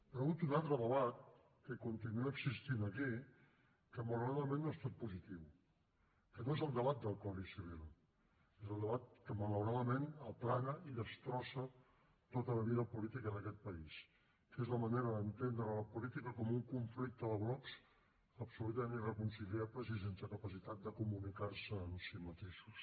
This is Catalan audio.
però hi ha hagut un altre debat que continua existint aquí que malauradament no ha estat positiu que no és el debat del codi civil és el debat que malauradament aplana i destrossa tota la vida política d’aquest país que és la manera d’entendre la política com un conflicte de blocs absolutament irreconciliables i sense capacitat de comunicar se en si mateixos